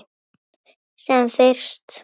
Sem fyrst.